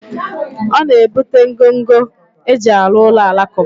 O na ebute ngọngọ eji alu ulo alakuba